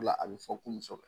a bɛ fɔ ko muso.